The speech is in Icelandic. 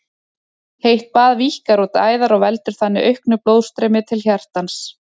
Heitt bað víkkar út æðar og veldur þannig auknu blóðstreymi til hjartans.